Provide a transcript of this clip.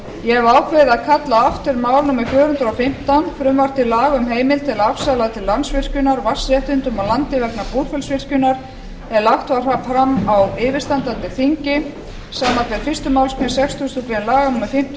ég hef ákveðið að kalla aftur mál númer fjögur hundruð og fimmtán frumvarp til laga um heimild til að afsala til landsvirkjunar vatnsréttindum og landi vegna búrfellsvirkjunar er lagt var fram á yfirstandandi þingi samanber fyrstu málsgrein sextugustu grein laga númer fimmtíu og